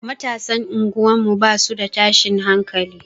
Matasan unguwar mu basu da tashin hankali.